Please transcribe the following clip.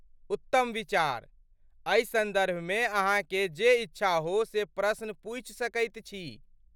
उत्तम विचार। एहि सन्दर्भमे अहाँकेँ जे इच्छा हो से प्रश्न पूछि सकैत छी।